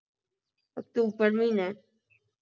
October ਮਹੀਨੇ